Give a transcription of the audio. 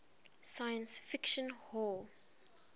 science fiction hall